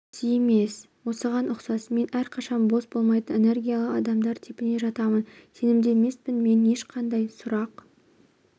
дұрыс емес осыған ұқсас мен әрқашан бос болмайтын энергиялы адамдар типіне жатамын сенімді емеспін мен ешқандай сұрақ